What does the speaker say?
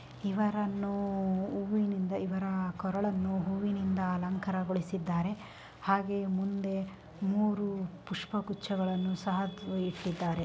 ಇವರನ್ನು ಹೂವಿನಿಂದ ಇವರ ಕೊರಳನ್ನು ಹೂವಿನಿಂದ ಅಲಂಕಾರಗೊಳಿಸಿದ್ದಾರೆ ಹಾಗೆ ಮುಂದೆ ಮೂರು ಪುಷ್ಪಗುಚ್ಛಗಳನ್ನು ಸಹ ಇಟ್ಟಿದ್ದಾರೆ.